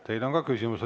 Teile on ka küsimus.